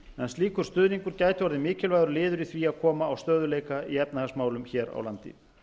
slíkur stuðningur gæti orðið mikilvægur liður í því að koma á stöðugleika í efnahagsmálum hér á landi